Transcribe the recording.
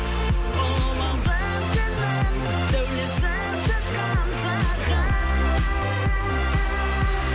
сәулесін шашқан саған